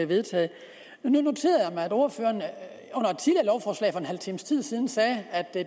vedtaget jeg noterede mig at ordføreren en halv times tide siden sagde at det